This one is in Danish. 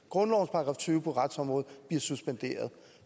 grundlovens § tyve på retsområdet bliver suspenderet